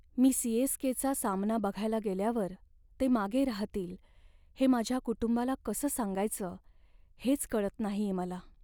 मी सी.एस.के.चा सामना बघायला गेल्यावर ते मागे राहतील, हे माझ्या कुटुंबाला कसं सांगायचं हेच कळत नाहीये मला.